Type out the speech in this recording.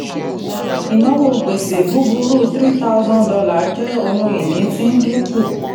ìnáwó gbèsè búburu three thousand dollar jẹ́ ohun ìní tí ń dínkù.